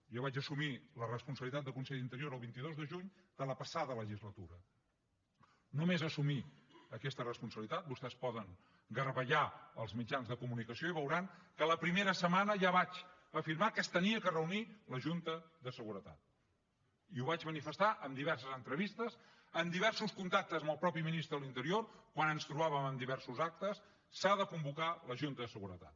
jo vaig assumir la responsabilitat de conseller d’interior el vint dos de juny de la passada legislatura només assumir aquesta responsabilitat vostès poden garbellar els mitjans de comunicació i veuran que la primera setmana ja vaig afirmar que s’havia de reunir la junta de seguretat i ho vaig manifestar en diverses entrevistes en diversos contactes amb el mateix ministre de l’interior quan ens trobàvem en diversos actes s’ha de convocar la junta de seguretat